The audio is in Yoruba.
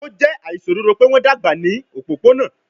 O jẹ aiṣododo pe wọn dagba ni opopona